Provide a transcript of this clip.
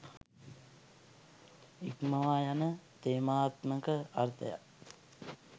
ඉක්මවා යන තේමාත්මක අර්ථයක්